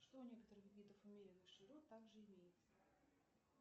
что у некоторых видов умеренных широт также имеется